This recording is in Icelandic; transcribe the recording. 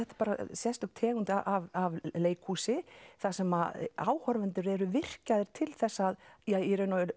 sérstök tegund af leikhúsi þar sem áhorfendur eru virkjaðir til þess að ja í raun og